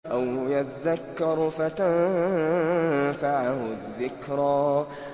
أَوْ يَذَّكَّرُ فَتَنفَعَهُ الذِّكْرَىٰ